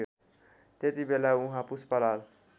त्यतिबेला उहाँ पुष्पलाल